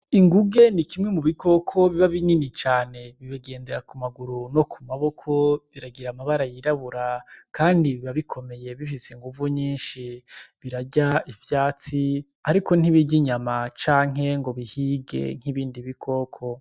Inguge n'ikimwe mu bikoko biba binini cane bigendera ku maguru no ku maboko biragira amabara y’irabura kandi biba bikomeye bifise inguvu nyishi birarya ivyatsi ariko ntibirya inyama canke ngo bihige nk'ibindi bikoko.